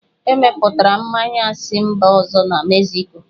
Emepụtara mmanya a si mba ọzọ na Mexico